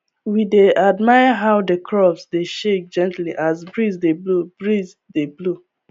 we dey admire how the crops dey shake gently as breeze dey blow breeze dey blow